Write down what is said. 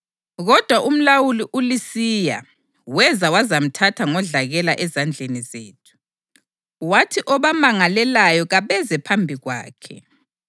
Kodwa umlawuli uLisiya weza wazamthatha ngodlakela ezandleni zethu, wathi obamangalelayo kabeze phambi kwakhe]. + 24.7 Livesi ayikho kwamanye amaBhayibhili esiLungu.